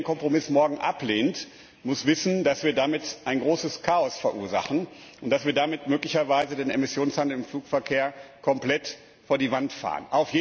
Wer den Kompromiss morgen ablehnt, muss wissen, dass wir damit ein großes Chaos verursachen und dass wir damit möglicherweise den Emissionshandel im Flugverkehr komplett an die Wand fahren.